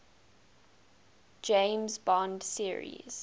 james bond series